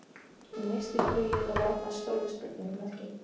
Hann missti flugið og varð að stóru spurningamerki.